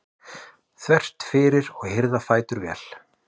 þvert fyrir og hirða fætur vel.